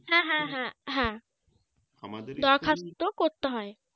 হ্যাঁ হ্যাঁ হ্যাঁ হ্যাঁ দরখাস্ত করতে হয়